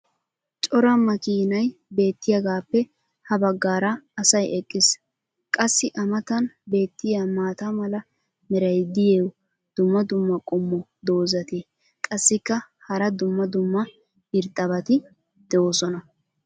cora makkiinay beetiyaagaappe ha bagaara asay eqqiis. qassi a matan beetiya maata mala meray diyo dumma dumma qommo dozzati qassikka hara dumma dumma irxxabati doosona.